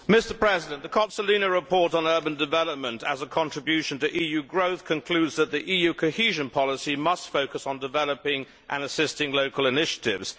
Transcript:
Mr President, the Cozzolino report on urban development as a contribution to EU growth concludes that the EU Cohesion Policy must focus on developing and assisting local initiatives.